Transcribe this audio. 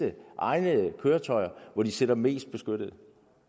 egnede køretøjer hvor de sidder mest beskyttet